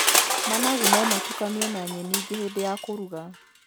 Managu no matukanio na nyeni ingĩ hĩndĩ ya kũruga.